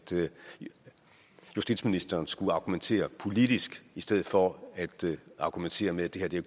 justitsministeren skulle argumentere politisk i stedet for at argumentere med at det